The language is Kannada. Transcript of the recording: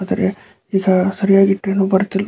ಆದರೆ ಆದರೆ ಈಗ ಸರಿಯಾಗಿ ಟ್ರೇನು ಬರುತ್ತಿಲ್ಲ.